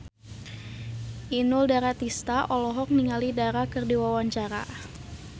Inul Daratista olohok ningali Dara keur diwawancara